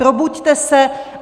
Probuďte se.